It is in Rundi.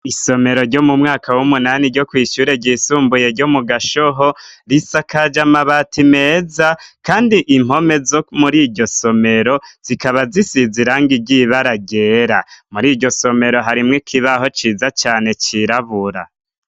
Isomero ryo mu mwaka w'umunani ryo kw'ishure ryisumbuye ryo mu Gashoho, risakaje amabati meza kandi impome zo muri iryo somero zikaba zisize irangi ry'ibara ryera. Muri iryo somero harimwo ikibaho ciza cane cirabura.